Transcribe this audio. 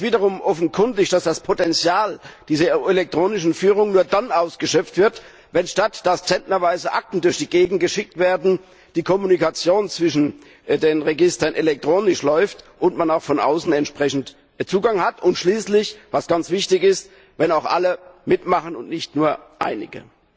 Es ist wiederum offenkundig, dass das Potenzial dieser elektronischen Führung nur dann ausgeschöpft wird, wenn nicht zentnerweise Akten durch die Gegend geschickt werden, sondern stattdessen die Kommunikation zwischen den Registern elektronisch läuft und man auch von außen entsprechend Zugang hat, und schließlich was ganz wichtig ist wenn auch alle mitmachen und nicht nur einige.